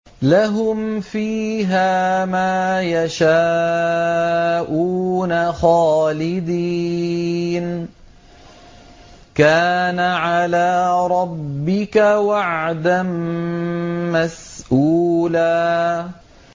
لَّهُمْ فِيهَا مَا يَشَاءُونَ خَالِدِينَ ۚ كَانَ عَلَىٰ رَبِّكَ وَعْدًا مَّسْئُولًا